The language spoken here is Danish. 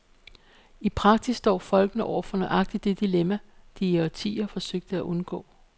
I praksis står folkene nu over for nøjagtigt det dilemma, de i årtier forsøgte at undgå.